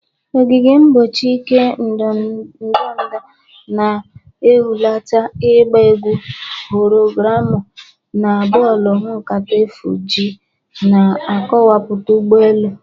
Ogige mgbochi ike ndọda na-ehulata, ịgba egwu hologramu na bọọlụ nkata efu-G na-akọwapụta ụgbọ elu.